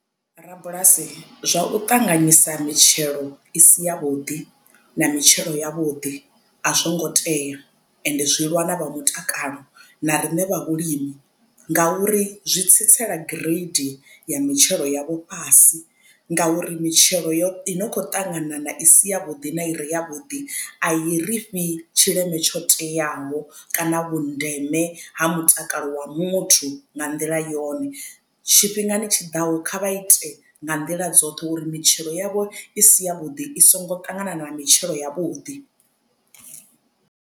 Rabulasi zwa u ṱanganyisa mitshelo i si ya vhuḓi na mitshelo ya vhuḓi a zwo ngo tea ende zwi lwa na vha mutakalo na riṋe vha vhulimi ngauri zwi tsitsela gireidi ya mitshelo yavho fhasi. Ngauri mitshelo yoṱhe i no kho ṱanganana i si ya vhuḓi na ire yavhuḓi a i ri fhi tshileme tsho teaho kana vhundeme ha mutakalo wa muthu nga nḓila yone tshifhingani tshiḓaho kha vha ite nga nḓila dzoṱhe uri mitshelo yavho i si ya vhuḓi i songo ṱangana na mitshelo ya vhuḓi.